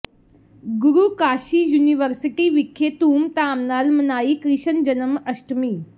ਗੁਰੂ Kashi university ਵਿਖੇ ਧੂਮਧਾਮ ਨਾਲ ਮਨਾਈ ਕ੍ਰਿਸ਼ਨ ਜਨਮ ਅਸ਼ਟਮੀ